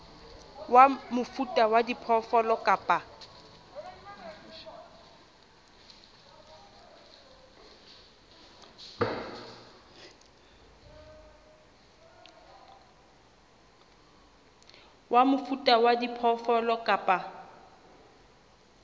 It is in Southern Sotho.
wa mofuta wa diphoofolo kapa